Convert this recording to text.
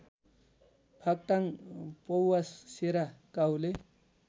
फाक्टाङ पौवासेरा काहुले